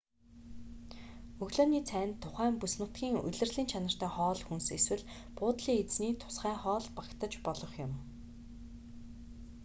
өглөөний цайнд тухайн бүс нутгийн улирлын чанартай хоол хүнс эсвэл буудлын эзний тусгай хоол багтаж болох юм